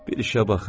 Bir işə baxın.